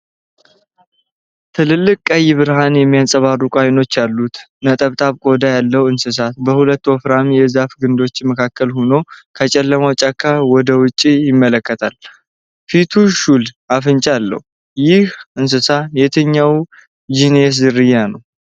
ትልልቅ ቀይ ብርሃን የሚያንጸባርቁ ዓይኖች ያሉት፣ ነጠብጣብ ቆዳ ያለው እንስሳ በሁለት ወፍራም የዛፍ ግንዶች መካከል ሆኖ ከጨለማው ጫካ ወደ ውጭ ይመለከታል። ፊቱ ሹል አፍንጫ አለው። ይህ እንስሳ የትኛው የጂነስ ዝርያ ነው?